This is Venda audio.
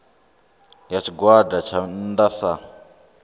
ya tshigwada tsha nnda sa